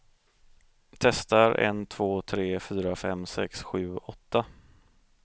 Testar en två tre fyra fem sex sju åtta.